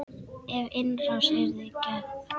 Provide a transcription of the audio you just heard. Ef innrás yrði gerð?